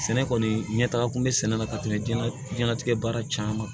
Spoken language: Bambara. Sɛnɛ kɔni ɲɛtaga kun bɛ sɛnɛ la ka tɛmɛ diɲɛnatigɛ baara caman